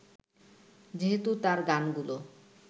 যেহেতু তাঁর গানগুলো